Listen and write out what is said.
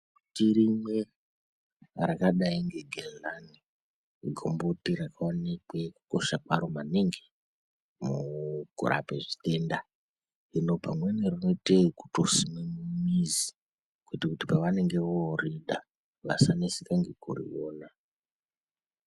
Tirimwe rakadai ngegenha mukomboti rakaonekww kukosha kwaro maningi mukurapa zvitenda hino pamweni rinoita yekuti simwe mumizi kuitire kuti voride vasanetsekane nekuriona.